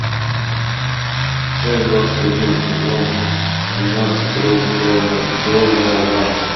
часть двадцать один сезон тринадцать рэй донован